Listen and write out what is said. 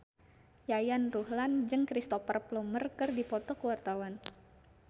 Yayan Ruhlan jeung Cristhoper Plumer keur dipoto ku wartawan